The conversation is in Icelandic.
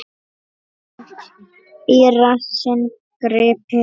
Seint í rassinn gripið.